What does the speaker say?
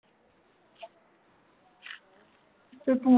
ਫੇਰ ਤੂੰ